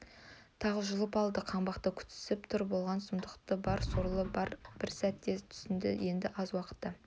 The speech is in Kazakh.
тағы жұлып алады қаңбақты күтісіп тұр болған сұмдықты бар сорлы бір сәтте түсінді енді аз уақытта